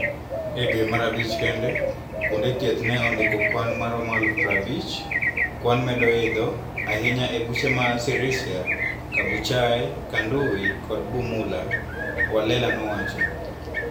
E dwe mar abich kende, kuonde thieth ne ondiko kwan maromo eluf prabich. Kwan medo idho. Ahinya e od buche ma Sirisia, Kabuchai, Kanduyi kod Bumula," Walela nowacho.